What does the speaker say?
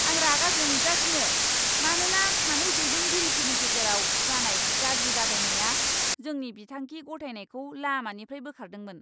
आं रागा जोंगासिनो मानोना सानै दैदेनगिरिफोरनि गेजेराव जानाय गाज्रि बादायनाया जोंनि बिथांखि गथायनायखौ लामानिफ्राय बोखारदोंमोन।